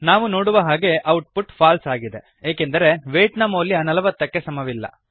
ನಾವು ನೋಡುವ ಹಾಗೆ ಔಟ್ ಪುಟ್ ಫಾಲ್ಸೆ ಆಗಿದೆ ಏಕೆಂದರೆ ವೇಯ್ಟ್ ನ ಮೌಲ್ಯ ೪೦ ಕ್ಕೆ ಸಮವಿಲ್ಲ